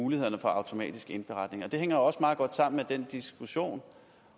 mulighederne for automatisk indberetning og det hænger jo også meget godt sammen med den diskussion